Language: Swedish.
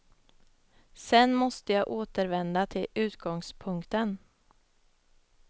Sen måste jag återvända till utgångspunkten.